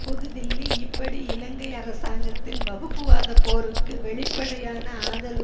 புதுதில்லி இப்படி இலங்கை அரசாங்கத்தின் வகுப்புவாத போருக்கு வெளிப்படையான ஆதரவு